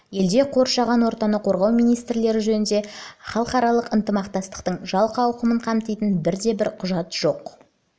елде қоршаған ортаны қорғау мәселелері жөніндегі халықаралық ынтымақтастықтың жалпы ауқымын қамтитындай бір де бір құжат жоқ